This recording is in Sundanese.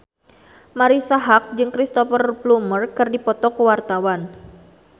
Marisa Haque jeung Cristhoper Plumer keur dipoto ku wartawan